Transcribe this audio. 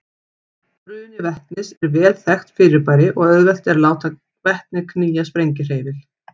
Bruni vetnis er vel þekkt fyrirbæri og auðvelt er að láta vetni knýja sprengihreyfil.